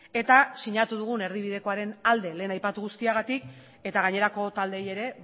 eta sinatu dugun erdibidekoaren alde lehen aipatu guztiagatik eta gainerako taldeei ere